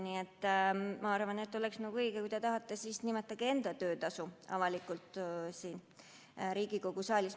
Nii et kui te tahate, nimetage enda töötasu avalikult siin Riigikogu saalis.